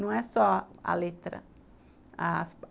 Não é só a letra.